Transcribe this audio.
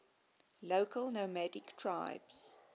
local nomadic tribes